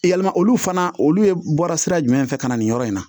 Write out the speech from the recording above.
Yalima olu fana olu ye bɔra sira jumɛn fɛ ka na nin yɔrɔ in na